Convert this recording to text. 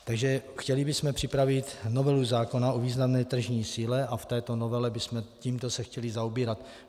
Takže chtěli bychom připravit novelu zákona o významné tržní síle a v této novele bychom se tímto chtěli zaobírat.